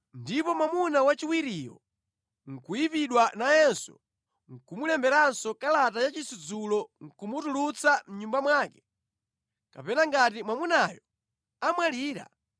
ndipo mwamuna wachiwiriyo nʼkuyipidwa nayenso ndi kumulemberanso kalata ya chisudzulo nʼkumutulutsa mʼnyumba mwake, kapena ngati mwamunayo amwalira,